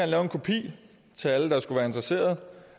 lave en kopi til alle der skulle være interesseret